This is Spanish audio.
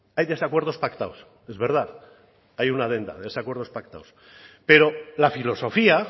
hay desacuerdos pactados es verdad hay una adenda de esos acuerdos pactados pero la filosofía